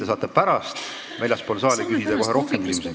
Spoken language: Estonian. Te saate pärast väljaspool saali küsida kohe rohkem küsimusi.